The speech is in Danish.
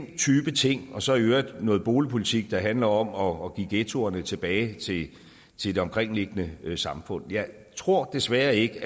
den type ting og så i øvrigt om noget boligpolitik der handler om at give ghettoerne tilbage til det omkringliggende samfund jeg tror desværre ikke